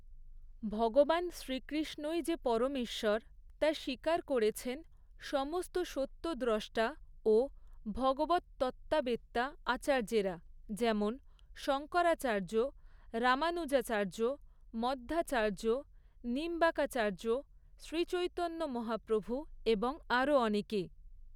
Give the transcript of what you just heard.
ভগবান শ্রীকৃ্ষ্ণই যে পরমেশ্বর, তা স্বীকার করেছেন সমস্ত সত্যদ্রষ্টা ও ভগবৎ তত্ত্ববেত্তা আচার্যেরা; যেমন শঙ্করাচার্য, রামানুজাচার্য, মধ্বাচার্য, নিম্বাকাচার্য শ্রীচৈতন্য মহাপ্রভু, এবং আরও অনেকে।